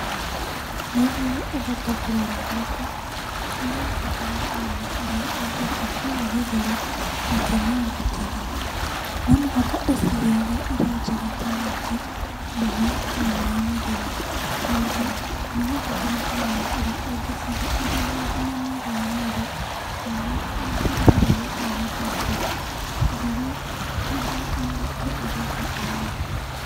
Nĩguo ũhote kũrera mbũkũ, nĩ ũrabatara kũmenya ũrĩa ũngĩaka kiugũ gĩtheru na kĩna ũgitĩri. Nomũhaka ũciheage irio njega ta nyeki, mboga na maaĩ matheru. Ningĩ nĩũrabatara kũmenya ũrĩa ũngĩcihe irĩ na ũgima mwega wa mwĩrĩ na ũrĩa ũngĩrũmbũiya twana twacio ũtheru nĩ kĩndũ gĩa bata mũno.